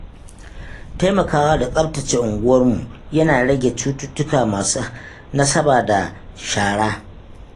Taimakawa da tsaftace unguwanni yana rage cututtuka masu nasaba da shara.